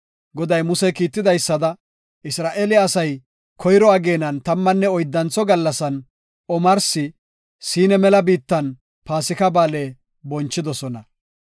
Goday Muse kiitidaysada, Isra7eele asay koyro ageenan tammanne oyddantho gallasan, omarsi Siina mela biittan Paasika Ba7aale bonchidosona.